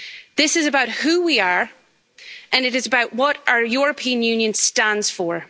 This is about who we are, and it is about what our European Union stands for.